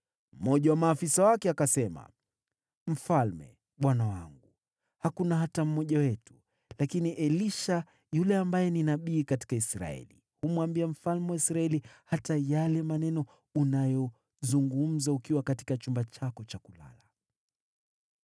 Mmoja wa maafisa wake akasema, “Mfalme bwana wangu, hakuna hata mmoja wetu. Lakini Elisha, yule nabii aliye Israeli, humwambia mfalme wa Israeli hata yale maneno unayozungumza katika chumba chako cha kulala.”